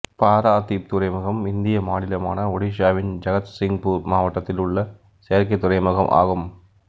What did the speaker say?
பாராதீப் துறைமுகம் இந்திய மாநிலமான ஒடிசாவின் ஜகத்சிங்பூர் மாவட்டத்தில் உள்ள செயற்கைத் துறைமுகம் ஆகும்